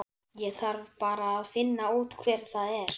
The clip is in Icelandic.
Ég þarf bara að finna út hver það er.